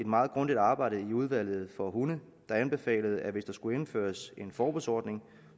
meget grundigt arbejde i udvalget om hunde der anbefalede at hvis der skulle indføres en forbudsordning